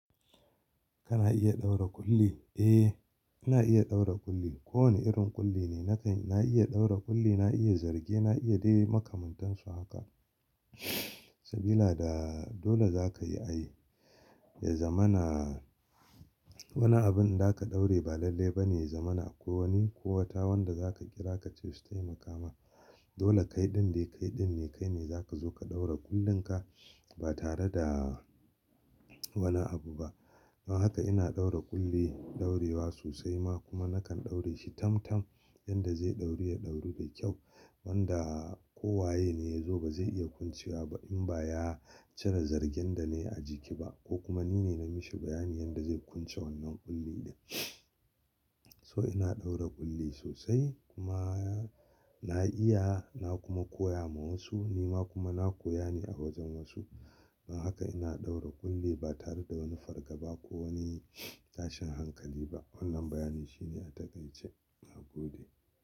Kana iya ɗaura ƙulli? Eh, ina iya ɗaura ƙulli. Ko wane irin ƙulli ne na kan, na iya ɗaura ƙulli, na iya zarge, na iya dai makamantansu haka. Sabila da dole za ka yi a yi, ya zamana wani abun da za ka ɗaure ba lalle ba ne, ya zamana ko wani ko wata wanda za ka kira ka ce su tai makama. Dole kaiɗin dai kaiɗin ne kai ne za ka zo ka ɗaura kullinka ba tare da wani abu ba. Don haka ina ɗaura ƙulli, ɗaurewa sosai ma kuma na kan ɗaure shi tam-tam yanda zai ɗauru ya ɗauru da kyau. Wanda ko waye ne ya zo ba zai iya kwancewa ba in ba ya cire zargen da na yi a jiki ba ko kuma ni ne na mishi bayani yanda zai kwance wannan ƙulli din. So ina ɗaura ƙulli sosai kuma na iya na kuma koya ma wasu, ni ma kuma na koya ne a wajen wasu. Don haka ina ɗaura ƙulli ba tare da wani fargaba ko wani tashin hankali ba. Wannan bayani shine a takaice na gode.